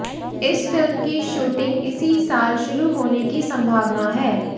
इस फिल्म की शूटिंग इसी साल शुरू होने की संभावना है